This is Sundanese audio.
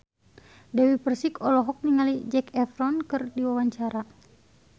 Dewi Persik olohok ningali Zac Efron keur diwawancara